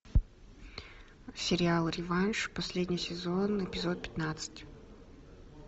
сериал реванш последний сезон эпизод пятнадцать